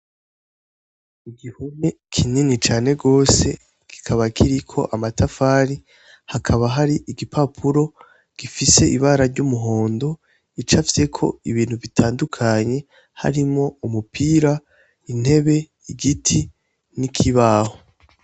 Igihome kinini cane gose kikaba kiriko amatafari, hakaba hari igipapuro gifise ibara ry'umuhondo gicapfyeko ibintu bitandukanye harimwo umupira, intebe, igiti, n'ikibaho.